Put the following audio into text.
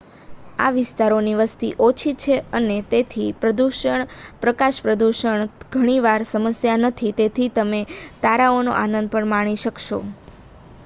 આ વિસ્તારોની વસ્તી ઓછી છે અને તેથી પ્રકાશપ્રદૂષણ ઘણી વાર સમસ્યા નથી તેથી તમે તારાઓનો આનંદ પણ માણી શકશો